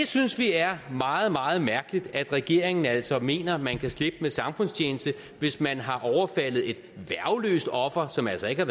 synes det er meget meget mærkeligt at regeringen altså mener at man kan slippe med samfundstjeneste hvis man har overfaldet et værgeløst offer som altså ikke er